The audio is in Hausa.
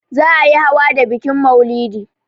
Za a yi hawa da bikin maulidi.